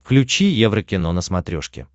включи еврокино на смотрешке